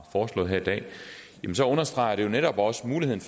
foreslået her i dag så understreger det jo netop også muligheden